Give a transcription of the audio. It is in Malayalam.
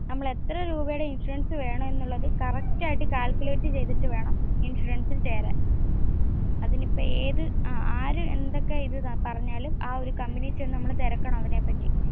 നമ്മൾ എത്ര രൂപേടെ ഇൻഷുറൻസ് വേണം എന്ന് ഉള്ളത് correct ആയിട്ടു calculate ചെയ്‍തിട്ട് വേണം ഇൻഷുറൻസിൽ ചേരാൻ. അതിനിപ്പോ ഏതു ആര് എന്തൊക്കെ ഇത് പറഞ്ഞാലും ആ ഒരു കമ്പനിയിൽ ചെന്ന് നമ്മൾ തിരക്കണം അതിനെ പറ്റി.